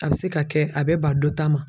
A bɛ se ka kɛ a bɛ ba dɔ ta ma.